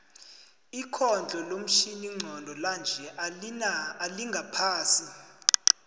ikhondlo lomtjhini nqondo lanje alina alingaphasi